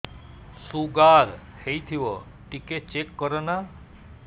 sugar ହେଇଥିବ ଟିକେ check କର ନା